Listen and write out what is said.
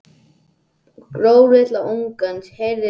Gröf litla ungans, heyrist mér Júlía segja.